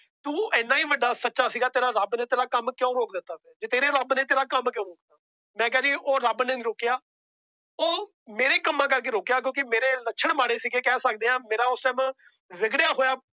ਤੂੰ ਏਡਾ ਵੱਡਾ ਸੱਚਾ ਸੀ ਗਾ। ਤੇਰਾ ਰੱਬ ਨੇ ਤੇਰਾ ਕੰਮ ਕਿਉਂ ਰੋਕ ਦਿੱਤਾ। ਮੈ ਕਿਹਾ ਜੀ ਉਹ ਰੱਬ ਨੇ ਨਹੀਂ ਰੋਕਿਆ। ਉਹ ਮੇਰੇ ਕੰਮਾਂ ਕਰਕੇ ਰੋਕਿਆ। ਉਹ ਮੇਰੇ ਕੰਮ ਰੋਕੇ ਮੇਰੇ ਲੱਛਣ ਮਾੜੇ ਸੀ ਕਹਿ ਸਕਦੇ ਆ ਮੇਰਾ ਉਸ Time ਵਿੱਘੜਿਆਂ ਹੋਇਆ